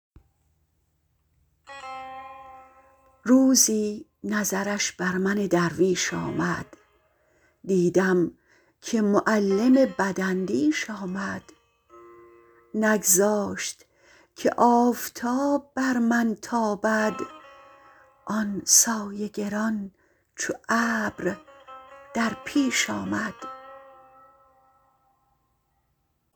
روزی نظرش بر من درویش آمد دیدم که معلم بداندیش آمد نگذاشت که آفتاب بر من تابد آن سایه گران چو ابر در پیش آمد